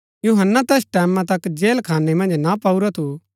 यूहन्‍ना तैस टैमां तक जेलखाने मन्ज ना पाऊरा थू